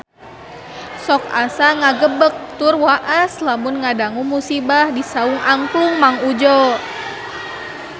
Sok asa ngagebeg tur waas lamun ngadangu musibah di Saung Angklung Mang Udjo